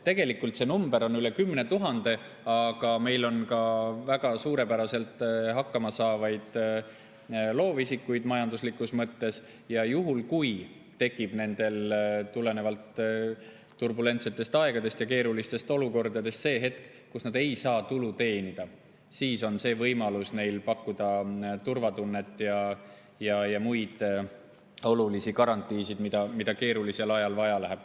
Nii et see number on üle 10 000, aga meil on ka väga suurepäraselt hakkama saavaid loovisikuid, majanduslikus mõttes, ja juhul, kui neil tekib tulenevalt turbulentsetest aegadest ja keerulistest olukordadest see hetk, kui nad ei saa tulu teenida, siis on võimalus pakkuda neile turvatunnet ja muid olulisi garantiisid, mida keerulisel ajal vaja läheb.